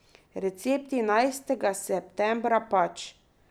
Recepti enajstega septembra pač.